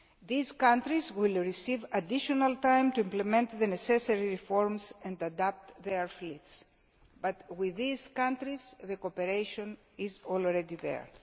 These countries will receive additional time to implement the necessary reforms and adapt their fleets, but with these countries the cooperation is already there.